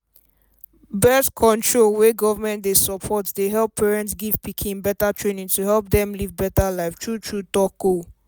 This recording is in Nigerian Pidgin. birth control wey government dey support dey help parents give pikin better training to help dem live better life true true talk ohh